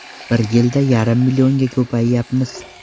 Bir yilda yarim millionga ko‘payyapmiz.